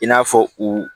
I n'a fɔ u